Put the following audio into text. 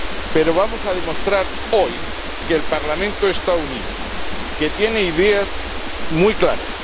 Pero vamos a demostrar hoy que el Parlamento está unido, que tiene ideas muy claras.